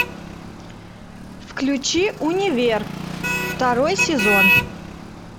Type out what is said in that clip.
включи универ второй сезон